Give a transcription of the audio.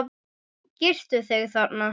Girtu þig, þarna!